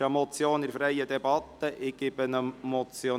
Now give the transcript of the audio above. Es handelt sich um eine Motion.